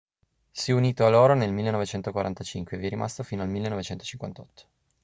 si è unito a loro nel 1945 e vi è rimasto fino al 1958